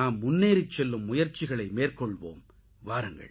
நாம் முன்னேறிச் செல்லும் முயற்சிகளை மேற்கொள்வோம் வாருங்கள்